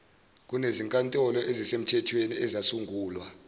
kunezinkantolo ezimthethweni ezasungulwa